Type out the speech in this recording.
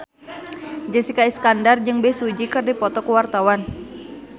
Jessica Iskandar jeung Bae Su Ji keur dipoto ku wartawan